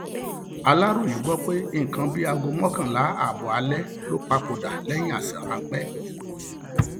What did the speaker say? aláròye gbọ pé nǹkan bíi aago mọkànlá ààbọ alẹ ló papòdà lẹyìn àìsàn ráńpẹ